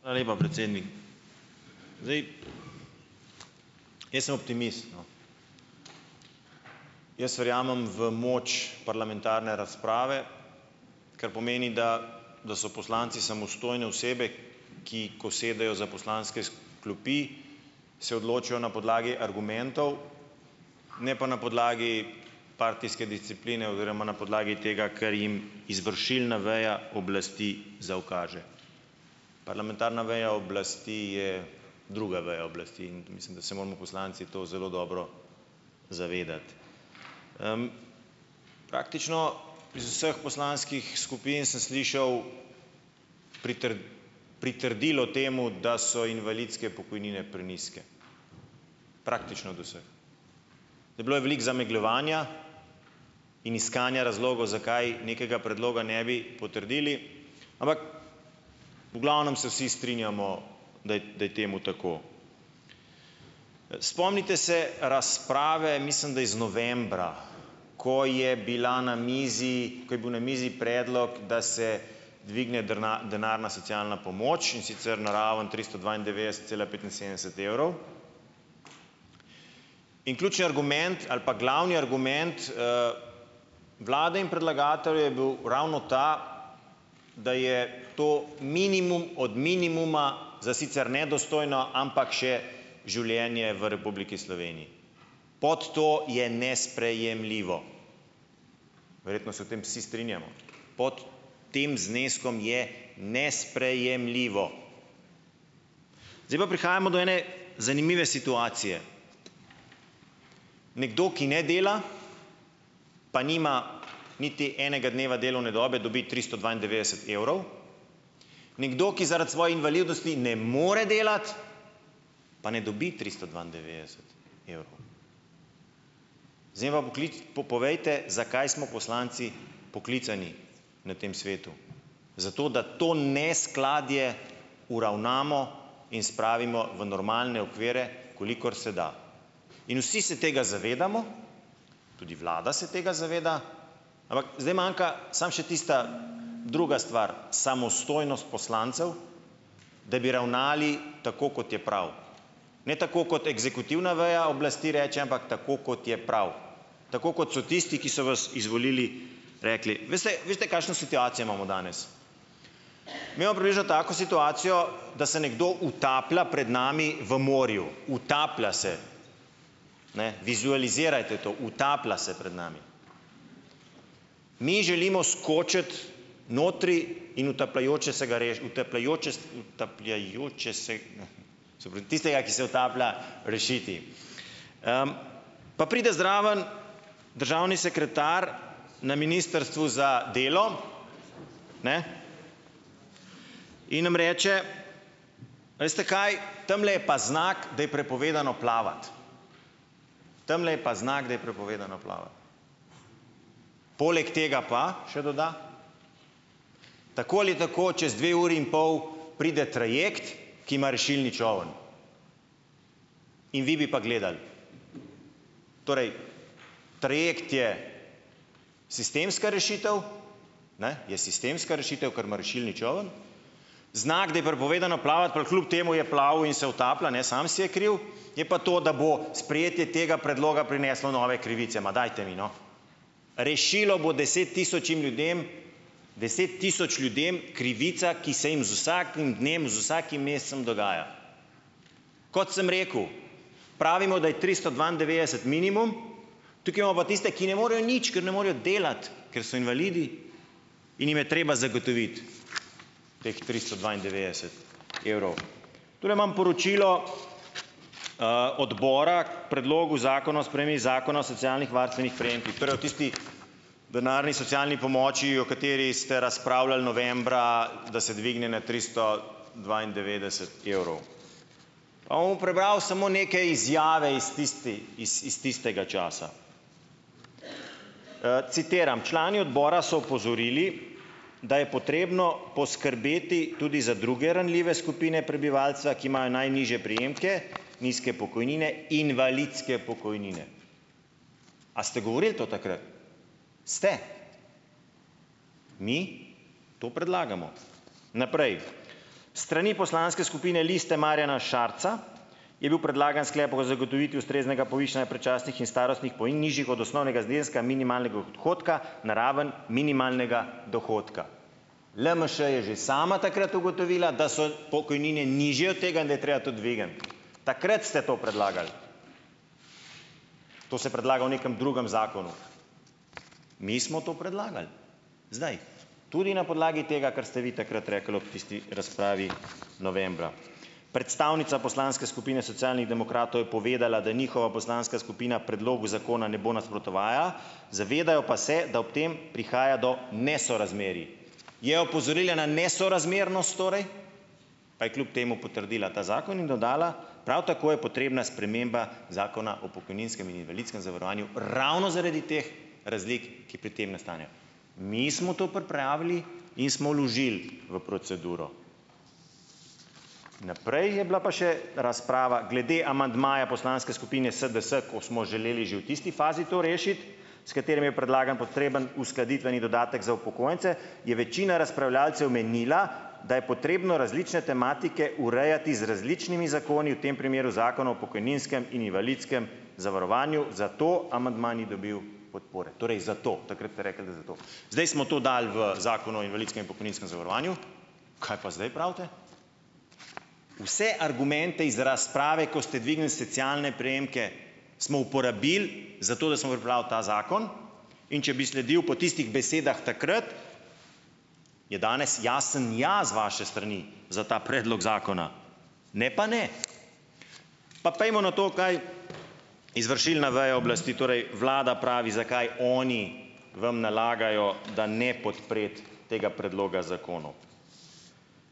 Hvala lepa, predsednik zdaj jaz sem optimist, no, jaz verjamem v moč parlamentarne razprave, kar pomeni, da da so poslanci samostojne osebe, ki ko sedejo za poslanske klopi, se odločajo na podlagi argumentov, ne pa na podlagi partijske discipline oziroma na podlagi tega, ker jim izvršilna veja oblasti zaukaže. Parlamentarna veja oblasti je druga veja oblasti in mislim, da se moramo poslanci to zelo dobro zavedati praktično iz vseh poslanskih skupin sem slišal pritrdilo temu, da so invalidske pokojnine prenizke, praktično od vseh, bilo je veliko zamegljevanja in iskanja razlogov, zakaj nekega predloga ne bi potrdili, ampak, v glavnem se vsi strinjamo, daj da je temu tako, spomnite se razprave, mislim da iz novembra, ko je bila na mizi, ko je bil na mizi predlog, da se dvigne denarna socialna pomoč, in sicer na raven tristo dvaindevetdeset cela petinsedemdeset evrov, in ključni argument ali pa glavni argument vlade in predlagateljev je bil ravno ta, da je to minimum od minimuma za sicer nedostojno, ampak še življenje v Republiki Sloveniji, pod to je nesprejemljivo, verjetno se v tem vsi strinjamo, pot tem zneskom je nesprejemljivo, zdaj pa prihajamo do ene zanimive situacije nekdo, ki ne dela pa nima niti enega dneva delovne dobe, dobi tristo dvaindevetdeset evrov, nekdo, ki zaradi svoje invalidnosti ne more delati, pa ne dobi tristo dvaindevetdeset evrov povejte, zakaj smo poslanci poklicani na tem svetu, zato da to neskladje uravnamo in spravimo v normalne okvire, kolikor se da, in vsi se tega zavedamo, tudi vlada se tega zaveda, ampak zdaj manjka samo še tista druga stvar, samostojnost poslancev, da bi ravnali tako, kot je prav, ne tako kot eksekutivna veja oblasti reče, ampak tako, kot je prav, tako kot so tisti, ki so vas izvolili, rekli, veste veste, kakšno situacijo imamo danes, tako situacijo da se nekdo utaplja pred nami v morju, utaplja se, ne vizualizirajte to, utaplja se pred nami, mi želimo skočiti notri in utapljajoče se ga utapljajoče utapljajoče se se pravi tistega, ki se utaplja, rešiti pa pride zraven državni sekretar na ministrstvu za delo, ne, in nam reče: "Veste, kaj, tamle je pa znak, da je prepovedano plavati, tamle je pa znak, da je prepovedano plavati," poleg tega pa še doda, "tako ali tako čez dve uri in pol pride trajekt, ki ima rešilni čoln." In vi bi pa gledali, torej trajekt je sistemska rešitev, ne, je sistemska rešitev, ker ima rešilni čoln, znak, da je prepovedano plavati, pa kljub temu je plaval in se utaplja, ne, sam si je kriv, je pa to, da bo sprejetje tega predloga prineslo nove krivice, ma dajte mi, no, rešilo bo deset tisočim ljudem deset tisoč ljudem krivice, ki se jim z vsakim dnem, z vsakim mesecem dogaja, kot sem rekel, pravimo, da je tristo dvaindevetdeset minimum, tukaj imamo pa tiste, ki ne morejo nič, k ne morejo delati, ker so invalidi in jim je treba zagotoviti teh tristo dvaindevetdeset evrov. Tule imam poročilo odbora predlogu zakona o spremembi zakona o socialnih varstvenih prejemkih, torej o tistih denarni socialni pomoči, o kateri ste razpravljali novembra, da se dvigne na tristo dvaindevetdeset evrov, avm prebral samo neke izjave iz tisti iz tistega časa, citiram, člani odbora so opozorili, da je potrebno poskrbeti tudi za druge ranljive skupine prebivalca, ki imajo najnižje prejemke, nizke pokojnine, invalidske pokojnine, a ste govorili to takrat, ste, mi to predlagamo, naprej, s strani poslanske skupine Liste Marjana Šarca je bil predlagan sklep o zagotovitvi ustreznega odhodka na raven minimalnega dohodka. LMŠ je že sama takrat ugotovila, da so pokojnine nižje od tega, da je treba to dvigni, takrat ste to predlagali, to ste predlagali v nekem drugem zakonu, mi smo to predlagali zdaj tudi na podlagi tega, kar ste vi takrat rekli ob tisti razpravi novembra. Predstavnica poslanske skupine Socialnih demokratov je povedala, da njihova poslanska skupina predlogu zakona ne bo nasprotovala, zavedajo pa se, da ob tem prihaja do nesorazmerij, je opozorila na nesorazmernost torej, pa je kljub temu potrdila ta zakon in dodala, prav tako je potrebna sprememba zakona o pokojninskem in invalidskem zavarovanju ravno zaradi teh razlik, ki pri tem nastanejo, mi smo tu pripravili in smo vložili v proceduro. Naprej je bila pa še razprava glede amandmaja poslanske skupine SDS, ko smo želeli že v tisti fazi to rešiti, s katerim je predlagan potreben uskladitveni dodatek za upokojence, je večina razpravljavcev menila, da je potrebno različne tematike urejati z različnimi zakoni, v tem primeru zakona o pokojninskem in invalidskem zavarovanju, zato amandma ni dobil podpore, torej zato takrat ste rekli, da zato, zdaj smo to dali v zakon o invalidskem in pokojninskem zavarovanju, kaj pa zdaj pravite? Vse argumente iz razprave, ko ste dvignili socialne prejemke, smo uporabili, zato da smo pripravili ta zakon, in če bi sledil po tistih besedah takrat, je danes jasen ja z vaše strani za ta predlog zakona ne pa ne. Pa pojdimo na to kdaj izvršilna veja oblasti, torej vlada, pravi, zakaj oni vam nalagajo, da ne podpreti tega predloga zakonov.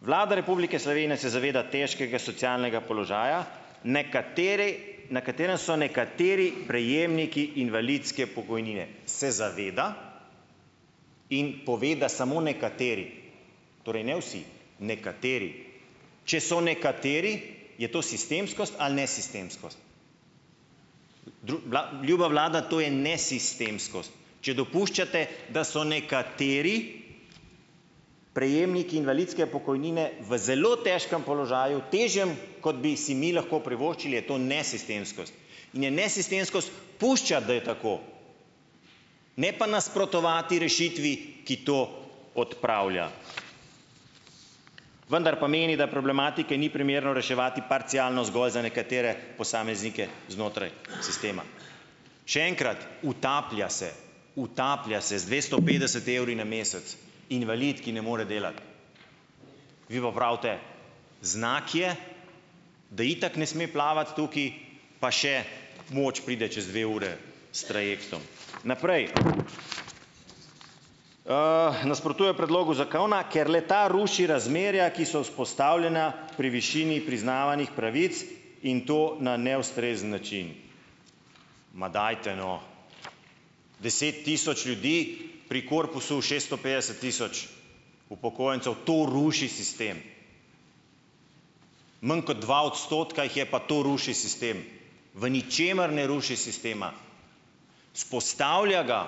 Vlada Republike Slovenije se zaveda težkega socialnega položaja, nekaterej, na katerem so nekateri prejemniki invalidske pokojnine, se zaveda in pove, da samo nekateri, torej ne vsi, nekateri, če so nekateri, je sistemskost ali nesistemskost, ljuba vlada, to je nesistemskost, če dopuščate, da so nekateri prejemniki invalidske pokojnine v zelo težkem položaju, težjem, kot bi si mi lahko privoščili, je to nesistemskost in je nesistemskost puščati, da je tako, ne pa nasprotovati rešitvi, ki to odpravlja, vendar pomeni, da problematike ni primerno reševati parcialno zgolj za nekatere posameznike znotraj sistema. Še enkrat, utaplja se, utaplja se z dvesto petdeset evri na mesec invalid, ki ne more delati, vi pa pravite, znak je, da itak ne sme plavati tukaj, pa še pomoč pride čez dve uri s trajektom. Naprej, nasprotuje predlogu zakona, ker le-ta ruši razmerja, ki so vzpostavljena pri višini priznavanih pravic in to na neustrezen način, ma dajte, no, deset tisoč ljudi pri korpusu šeststo petdeset tisoč upokojencev, to ruši sistem, manj kot dva odstotka jih je, pa to ruši sistem, v ničemer ne ruši sistema, vzpostavlja ga,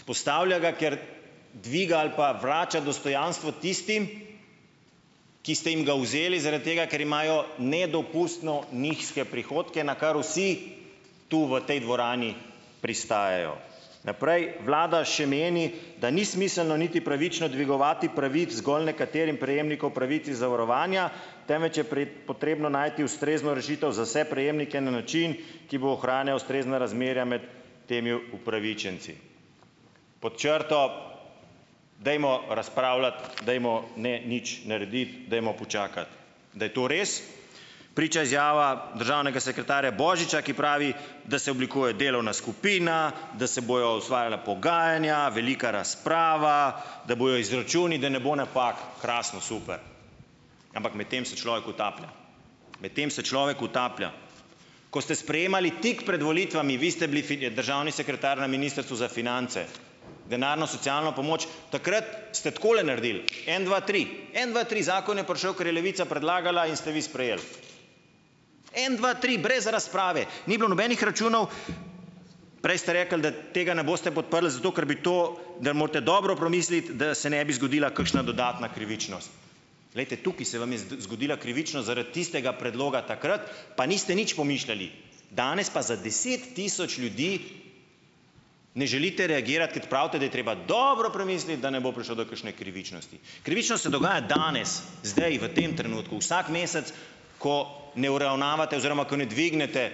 vzpostavlja ga, ker dviga ali pa vrača dostojanstvo tistim, ki ste jim ga vzeli zaradi tega, ker imajo nedopustno nizke prihodke, na kar vsi tu v tej dvorani pristajajo, naprej vlada še meni, da ni smiselno niti pravično dvigovati pravic zgolj nekaterim prejemnikom pravic iz zavarovanja, temveč je potrebno najti ustrezno rešitev za vse prejemnike na način, ki bo ohranjal ustrezna razmerja med temi upravičenci. Pod črto dajmo razpravljati, dajmo ne nič narediti, dajmo počakati, da je to res, priča izjava državnega sekretarja Božiča, ki pravi, da se oblikuje delovna skupina, da se bojo osvajala pogajanja, velika razprava, da bojo izračuni, da ne bo napak, krasno super, ampak medtem se človek utaplja, medtem se človek utaplja, ko ste sprejemali tik pred volitvami, vi ste bili državni sekretar na ministrstvu za finance, denarno socialno pomoč, takrat ste takole naredili en dva tri, en dva tri, zakon je prišel, kar je Levica predlagala, in ste vi sprejeli en dva tri brez razprave, ni bilo nobenih računov, prej ste rekli, da tega ne boste podprli zato, ker bi to, da morate dobro premisliti, da se ne bi zgodila kakšna dodatna krivičnost, glejte, tukaj se zgodila krivičnost zaradi tistega predloga takrat, pa niste nič pomišljali, danes pa za deset tisoč ljudi ne želite reagirati, pravite, da je treba dobro premisliti, da ne bo prišlo do kakšne krivičnosti, krivičnost se dogaja danes, zdaj v tem trenutku vsak mesec, ko ne uravnavate oziroma ko ne dvignete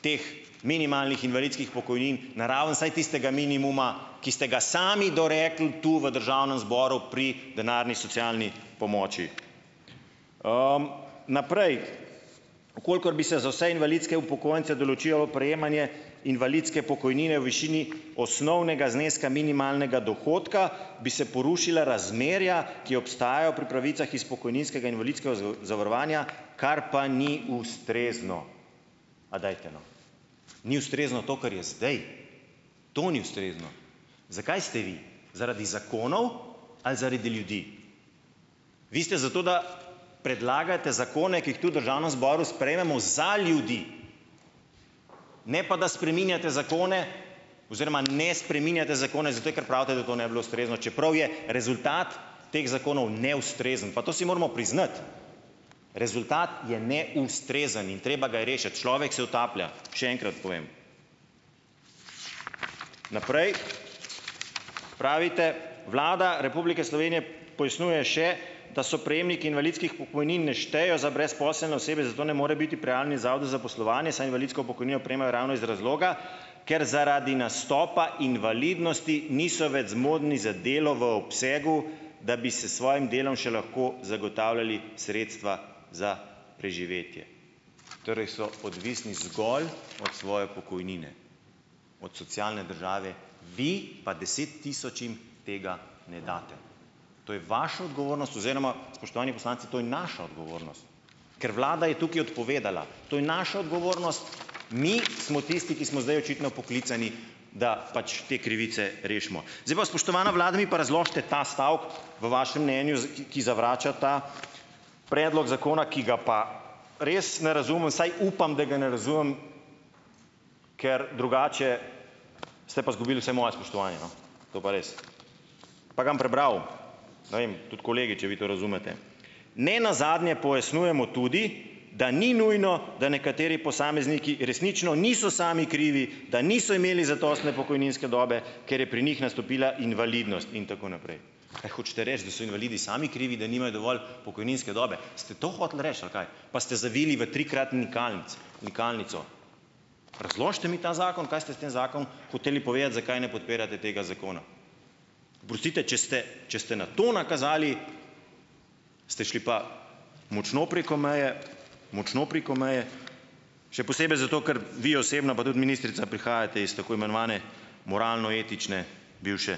teh minimalnih invalidskih pokojnin na raven vsaj tistega minimuma, ki ste ga sami dorekli tu v državnem zboru pri denarni socialni pomoči. Naprej, v kolikor bi se za vse invalidske upokojence določilo prejemanje invalidske pokojnine v višini osnovnega zneska minimalnega dohodka, bi se porušila razmerja, ki obstajajo pri pravicah iz pokojninskega invalidskega zavarovanja, kar pa ni ustrezno, a dajte, no, ni ustrezno to, kar je zdaj, to ni ustrezno, zakaj ste vi zaradi zakonov ali zaradi ljudi? Vi ste za to, da predlagate zakone, ki jih tu v državnem zboru sprejmemo za ljudi, ne pa da spreminjate zakone oziroma ne spreminjate zakone, zato ker pravite, da to ne bi bilo ustrezno, čeprav je rezultat teh zakonov neustrezen, pa to si moramo priznati, rezultat je neustrezen in treba ga je rešiti, človek se utaplja, še enkrat povem. Naprej, pravite, Vlada Republike Slovenije, da so prejemniki invalidskih pokojnin ne štejejo za brezposelne osebe, zato ne more biti prjalni zavod za zaposlovanje, saj invalidsko pokojnino prejemajo ravno iz razloga, ker zaradi nastopa invalidnosti niso več zmožni za delo v obsegu, da bi se svojim delom še lahko zagotavljali sredstva za preživetje. Torej so odvisni zgolj od svoje pokojnine, od socialne države, vi pa deset tisočim tega ne date, to je vaša odgovornost oziroma, spoštovani poslanci, to je naša odgovornost, ker vlada je tukaj odpovedala, to je naša odgovornost, mi smo tisti, ki smo zdaj očitno poklicani, da pač te krivice rešimo, zdaj pa spoštovana vlada, mi pa razložite ta stavek v vašem mnenju, ki zavrača ta predlog zakona, ki ga pa res ne razumem, saj upam, da ga ne razumem, ker drugače ste pa zgubili vse moje spoštovanje, no, to pa res, pa ga bom prebral, ne vem tudi kolegi če vi to razumete, nenazadnje pojasnjujemo tudi, da ni nujno, da nekateri posamezniki resnično niso sami krivi, da niso imeli zadostne pokojninske dobe, ker je pri njih nastopila invalidnost in tako naprej, a hočete reči, da so invalidi sami krivi, da nimajo dovolj pokojninske dobe, ste to hoteli reči, ali kaj, pa ste zavili v trikratni nikalnico, razložite mi ta zakon, kaj ste s tem zakon hoteli povedati, zakaj ne podpirate tega zakona, oprostite, če ste, če ste na to nakazali, ste šli pa močno preko meje, močno preko meje, še posebej zato, ker vi osebno pa tudi ministrica prihajate iz tako imenovane moralno-etične bivše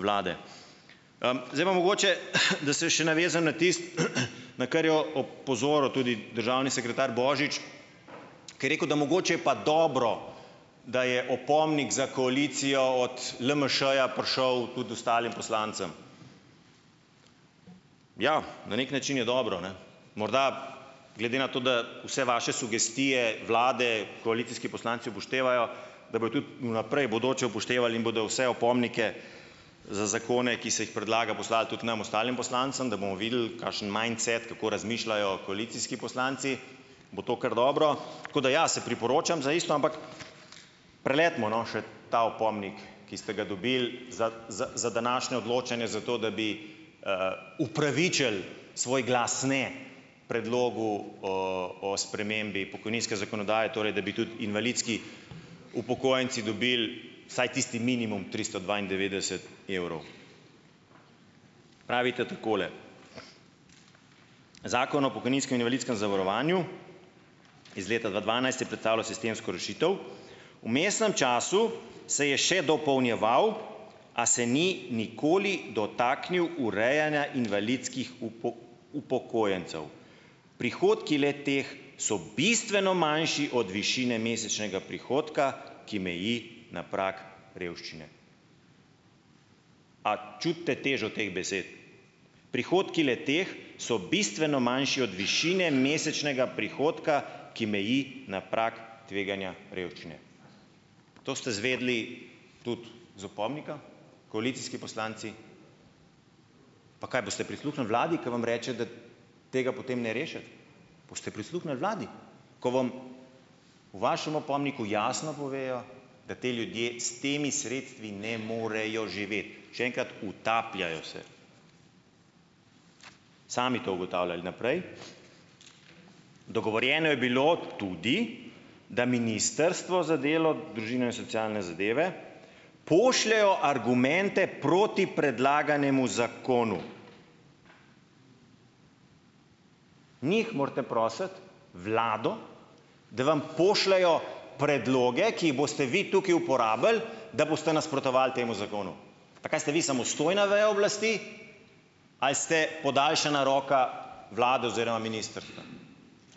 vlade, zdaj pa mogoče, na kar je o pozoril tudi državni sekretar Božič, ko je rekel, mogoče je pa dobro, da je opomnik za koalicijo od LMŠ-ja prišel tudi ostalim poslancem, ja, na neki način je dobro, ne, morda glede na to, da vse vaše sugestije vlade koalicijski poslanci upoštevajo, da bojo tudi v naprej bodoče upoštevali in bodo vse opomnike za zakone, ki se jih predlaga, poslali tudi nam ostalim poslancem, da bomo videli, kakšen mindset, kako razmišljajo koalicijski poslanci, bo to kar dobro, tako da ja, se priporočam za isto, ampak preletimo, no, še ta opomnik, ki ste ga dobili za za za današnjo odločanje, zato da bi upravičili svoj glas, ne, predlogu oo o spremembi pokojninske zakonodaje, torej da bi tudi invalidski upokojenci dobili vsaj tisti minimum tristo dvaindevetdeset evrov. Pravite takole: zakon o pokojninskem in invalidskem zavarovanju iz leta dva dvanajst je predstavljal sistemsko rešitev, v mesnem času se je še dopolnjeval, a se ni nikoli dotaknil urejanja invalidskih upokojencev, prihodki le-teh so bistveno manjši od višine mesečnega prihodka, ki meji na prag revščine. A čutite težo teh besed, prihodki le-teh so bistveno manjši od višine mesečnega prihodka, ki meji na prag tveganja revščine. To ste izvedeli tudi iz opomnika, koalicijski poslanci, pa kaj boste prisluhnili vladi, k vam reče, da tega potem ne rešiti, boste prisluhnili vladi, ko vam v vašem opomniku jasno povejo, da ti ljudje s temi sredstvi ne morejo živeti, še enkrat, utapljajo se, sami to ugotavljali, naprej, dogovorjeno je bilo tudi, da ministrstvo za delo družino in socialne zadeve pošljejo argumente proti predlaganemu zakonu. Njih morate prositi, vlado, da vam pošljejo predloge, ki jih boste vi tukaj uporabili, da boste nasprotovali temu zakonu, pa kaj ste vi samostojna veja oblasti ali ste podaljšana roka vlade oziroma ministrstva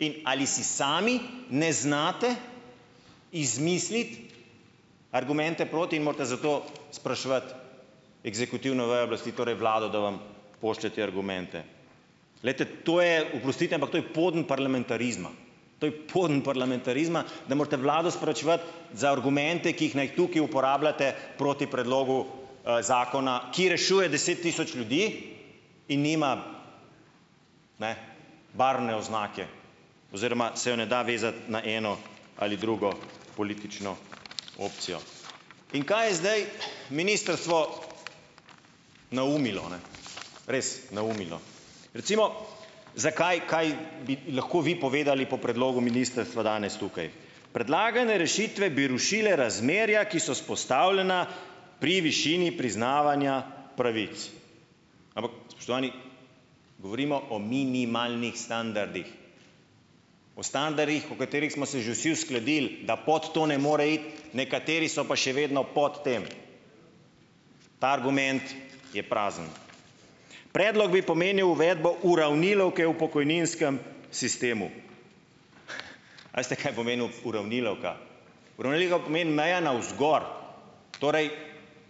in ali si sami ne znate izmisliti argumente proti in morate zato spraševati eksekutivno vejo oblasti, torej vlado, da vam pošlje te argumente glejte, to je, oprostite, ampak to je poden parlamentarizma, to je poden parlamentarizma, da morate vlado sporočevati za argumente, ki jih naj tukaj uporabljate proti predlogu zakona, ki rešuje deset tisoč ljudi in nima ne barvne oznake oziroma se je ne da vezati na eno ali drugo politično opcijo. In kaj je zdaj ministrstvo naumilo, res naumilo, recimo, zakaj kaj bi lahko vi povedali po predlogu ministrstva danes tukaj predlagane rešitve bi rušile razmerja, ki so vzpostavljena pri višini priznavanja pravic, ampak spoštovani, govorimo o minimalnih standardih, po standardih, v katerih smo se že vsi uskladili, da pot to ne more iti, nekateri so pa še vedno pod tem, ta argument je prazen, predlog bi pomenil uvedbo uravnilovke v pokojninskem sistemu, a veste, kaj pomeni uravnilovka, uravnilovka pomeni na ena vzgor, torej